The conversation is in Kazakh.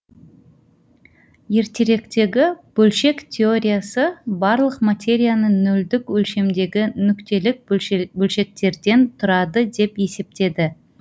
ертеректегі бөлшек теориясы барлық материяны нөлдік өлшемдегі нүктелік бөлшектерден тұрады деп есептеді